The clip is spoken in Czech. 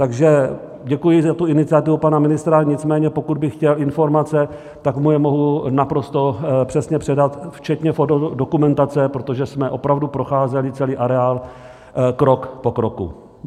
Takže děkuji za tu iniciativu pana ministra, nicméně pokud by chtěl informace, tak mu je mohu naprosto přesně předat včetně fotodokumentace, protože jsme opravdu procházeli celý areál krok po kroku.